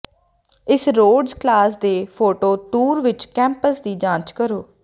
ਇਸ Rhodes college ਦੇ photo tour ਵਿੱਚ ਕੈਂਪਸ ਦੀ ਜਾਂਚ ਕਰੋ